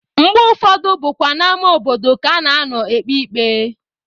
Mgbe ụfọdụ bụkwa n'ama obodo ka a na-anọ ekpe ikpe.